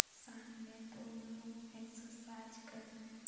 सामने दो लोग एक्सरसाइज कर रहे ।